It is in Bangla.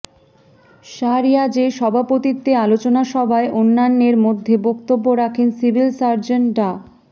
শাহরিয়াজের সভাপতিত্বে আলোচনা সভায় অন্যান্যের মধ্যে বক্তব্য রাখেন সিভিল সার্জন ডা